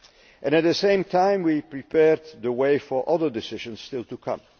And at the same time we prepared the way for other decisions still to come.